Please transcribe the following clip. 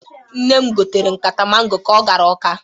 Nne m gotere nkata mango ka o gara Ọka.